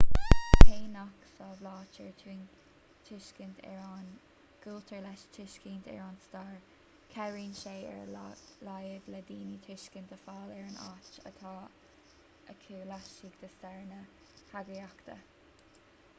cé nach samhlaítear tuiscint ar an gcultúr le tuiscint ar an stair cabhraíonn sé ar a laghad le daoine tuiscint a fháil ar an áit atá acu laistigh de stair na heagraíochta